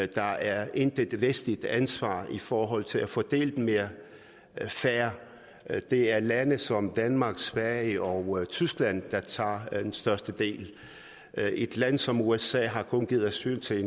der er intet vestligt ansvar i forhold til at fordele dem mere fair det er lande som danmark sverige og tyskland der tager den største del et land som usa har kun givet asyl til